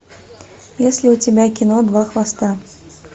есть ли у тебя кино два хвоста